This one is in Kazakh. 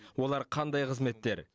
олар қандай қызметтер